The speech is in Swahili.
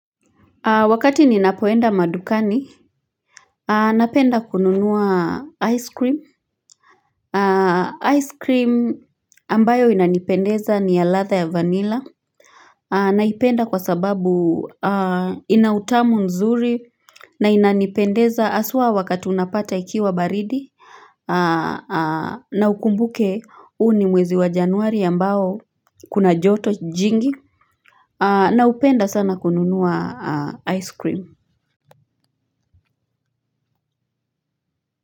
Wakati ninapoenda madukani napenda kununua ice cream ice cream ambayo inanipendeza ni ya ladha ya vanilla naipenda kwa sababu ina utamu nzuri na inanipendeza haswa wakati unapata ikiwa baridi na ukumbuke uu ni mwezi wa januari ambao kuna joto jingi napenda sana kununua ice cream. Kwa hivyo.